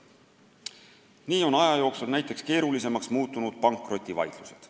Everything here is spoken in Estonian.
Nii on aja jooksul keerulisemaks muutunud näiteks pankrotivaidlused.